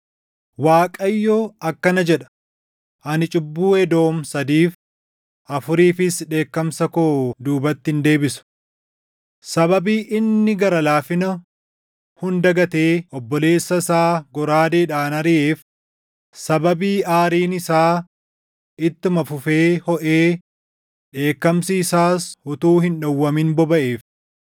Waaqayyo akkana jedha: “Ani cubbuu Edoom sadiif, afuriifis dheekkamsa koo duubatti hin deebisu. Sababii inni gara laafina hunda gatee obboleessa isaa goraadeedhaan ariʼeef, sababii aariin isaa ittuma fufee hoʼee dheekkamsi isaas utuu hin dhowwamin bobaʼeef,